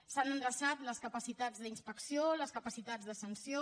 s’han endreçat les capacitats d’inspecció les capacitats de sanció